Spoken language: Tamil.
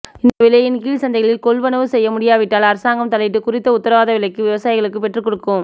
இந்த விலையின் கீழ் சந்தைகளில் கொள்வனவு செய்ய முடியாவிட்டால் அரசாங்கம் தலையிட்டு குறித்த உத்தரவாத விலைக்கு விவசாயிகளுக்கு பெற்றுக்கொடுக்கும்